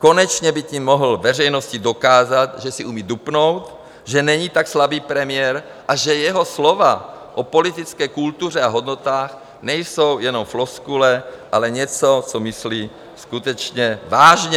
Konečně by tím mohl veřejnosti dokázat, že si umí dupnout, že není tak slabý premiér a že jeho slova o politické kultuře a hodnotách nejsou jenom floskule, ale něco, co myslí skutečně vážně.